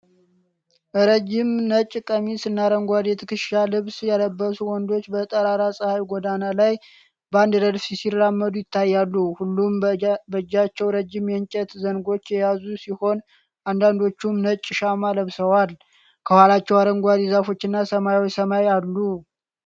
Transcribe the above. ረዥም ነጭ ቀሚስና አረንጓዴ የትከሻ ልብስ የለበሱ ወንዶች በጠራራ ፀሐይ ጎዳና ላይ በአንድ ረድፍ ሲራመዱ ይታያሉ። ሁሉም በእጃቸው ረዥም የእንጨት ዘንጎች የያዙ ሲሆን፣ አንዳንዶቹም ነጭ ሻማ ለብሰዋል። ከኋላቸው አረንጓዴ ዛፎች እና ሰማያዊ ሰማይ አሉ።